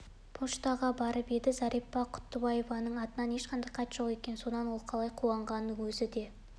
поштаға барып еді зәрипа құттыбаеваның атына ешқандай хат жоқ екен сонда ол қалай қуанғанын өзі де